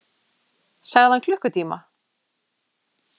Sagði hann klukkutíma?